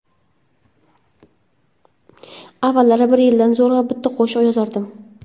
Avvallari bir yilda zo‘rg‘a bitta qo‘shiq yozardim.